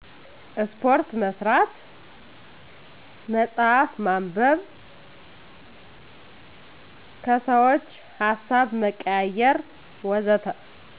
ስፓርት መስራት፣ መፅሃፍ ማንበብ፣ ከሰዎች ሀሳብ መቀያየር ወዘተ